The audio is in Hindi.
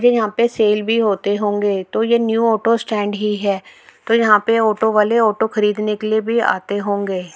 ये यहाँ पे सेल भी होते होंगे तो ये न्यू ऑटो स्टैन्ड ही है तो यहाँ पे ऑटो वाले ऑटो खरीदने के लिए भी आते होंगे।